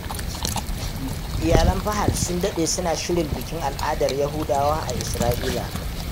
Iyalan Fahad sun daɗe suna shirin bikin al'adar Yahudawa a Isra’ila.